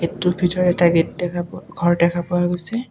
এইটোৰ ভিতৰত এটা গেট দেখা পোৱা ঘৰ দেখা পোৱা গৈছে।